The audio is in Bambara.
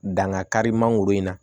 Danga kari mangoro in na